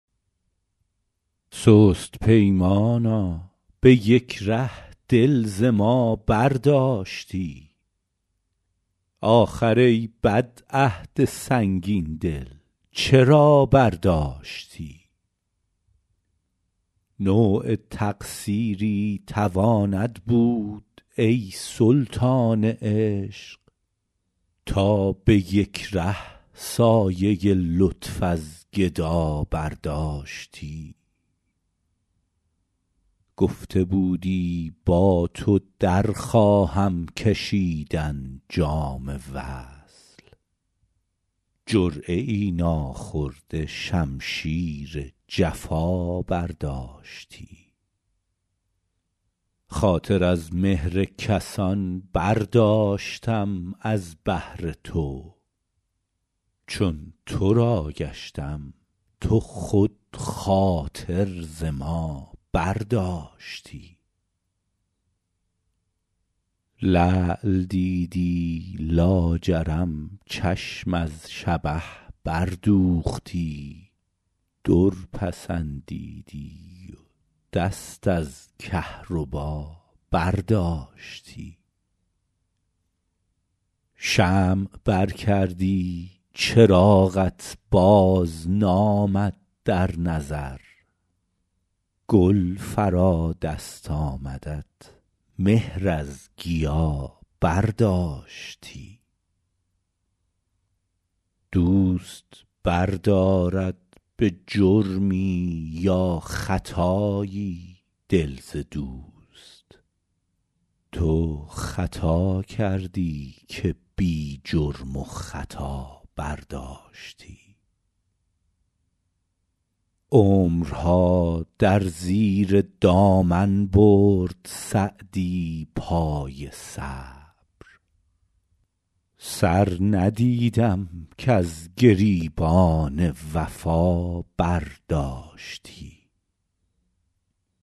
سست پیمانا به یک ره دل ز ما برداشتی آخر ای بد عهد سنگین دل چرا برداشتی نوع تقصیری تواند بود ای سلطان عشق تا به یک ره سایه لطف از گدا برداشتی گفته بودی با تو در خواهم کشیدن جام وصل جرعه ای ناخورده شمشیر جفا برداشتی خاطر از مهر کسان برداشتم از بهر تو چون تو را گشتم تو خود خاطر ز ما برداشتی لعل دیدی لاجرم چشم از شبه بردوختی در پسندیدی و دست از کهربا برداشتی شمع بر کردی چراغت بازنامد در نظر گل فرا دست آمدت مهر از گیا برداشتی دوست بردارد به جرمی یا خطایی دل ز دوست تو خطا کردی که بی جرم و خطا برداشتی عمرها در زیر دامن برد سعدی پای صبر سر ندیدم کز گریبان وفا برداشتی